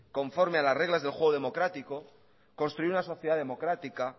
conforme a las reglas del juego democrático construir una sociedad democrática